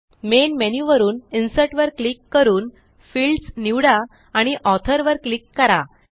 main menu वरून Insertवर click करूनFields निवडा आणि Authorवर क्लिक करा